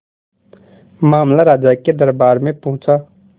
मामला राजा के दरबार में पहुंचा